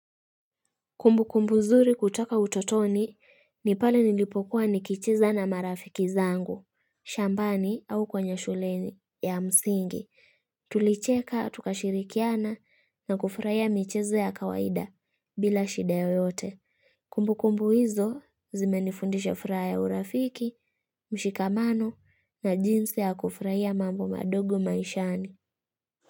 Kumbu kumbu zuri kutoka utotoni ni pale nilipokuwa nikicheza na marafiki zangu, shambani au kwenye shuleni ya msingi. Tulicheka, tukashirikiana na kufraia micheze ya kawaida bila shida yoyote. Kumbu kumbu hizo zimenifundisha furaha ya urafiki, mshikamano na jinsi ya kufraia mambo madogo maishani.